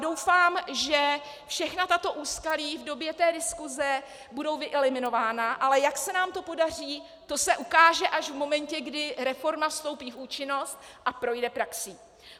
Doufám, že všechna tato úskalí v době té diskuze budou vyeliminována, ale jak se nám to podaří, to se ukáže až v momentě, kdy reforma vstoupí v účinnost a projde praxí.